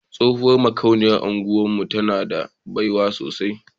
Tsohuwar makauniyar unguwar mu tana da baiwa sosai.